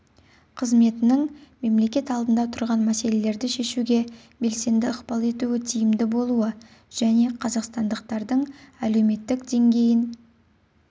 қызметінің мемлекет алдында тұрған мәселелерді шешуге белсенді ықпал етуі тиімді болуы және қазақстандықтардың әлеуметтік деңгейін